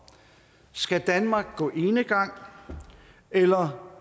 skal danmark gå enegang eller